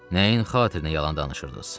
Nəyin xatirinə yalan danışırdınız?